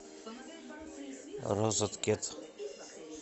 розеткед